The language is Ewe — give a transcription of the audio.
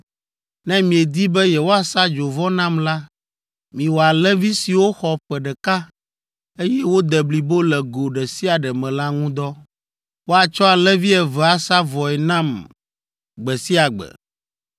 Ne miedi be yewoasa dzovɔ nam la, miwɔ alẽvi siwo xɔ ƒe ɖeka, eye wode blibo le go ɖe sia ɖe me la ŋu dɔ. Woatsɔ alẽvi eve asa vɔe nam gbe sia gbe.